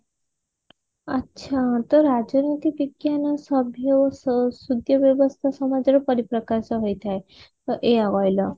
ଆଛା ତ ରାଜନୀତି ବିଜ୍ଞାନ ସଭ୍ଯ ଓ ସୁ ସଦ୍ୟ ବ୍ୟବସ୍ତା ସମାଜର ପରିପ୍ରକାଶ ହୋଇ ଥାଏ ତ ଏଇଆ କହିଲ